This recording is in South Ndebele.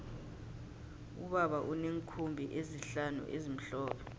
ubaba uneenkhumbi ezihlanu ezimhlophe